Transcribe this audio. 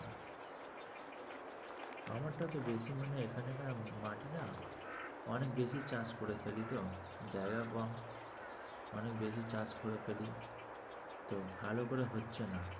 আমারটা তো বেশি মানে এখানে না মাটি না অনেক বেশি চাষ করে ফেলি তো, জায়গা কম অনেক বেশি চাষ করে ফেলি তো ভালো করে হচ্ছে না।